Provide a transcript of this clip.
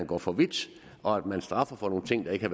går for vidt og at man straffer for nogle ting det ikke